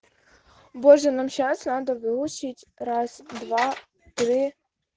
боже нам сейчас надо выучить раз-два-три